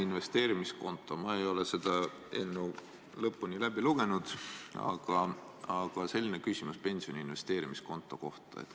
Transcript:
Ma ei ole seda eelnõu lõpuni läbi lugenud, aga mul on küsimus pensioni investeerimiskonto kohta.